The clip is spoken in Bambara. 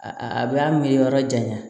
A a b'a miiri yɔrɔ janya